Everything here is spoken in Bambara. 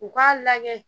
U k'a lajɛ